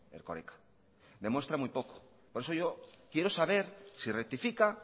erkoreka demuestra muy poco por eso yo quiero saber si rectifica